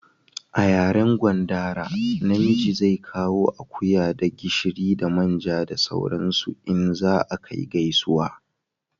A yaren gwandara na miji zai kawo akuya da gishiri da manja da sauran su in za a kai gaisuwa